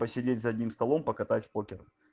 посидеть за одним столом показать в покер